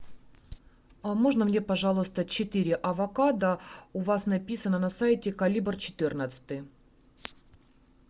можно мне пожалуйста четыре авокадо у вас написано на сайте калибр четырнадцатый